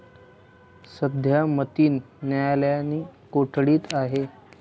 सध्या मतीन न्यायालयीन कोठडीत आहे.